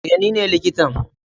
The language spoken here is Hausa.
eh nine likitan.